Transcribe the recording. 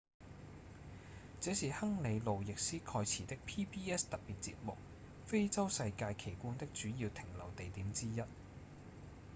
這是亨利．路易斯．蓋茨的 pbs 特別節目《非洲世界奇觀》的主要停留地點之一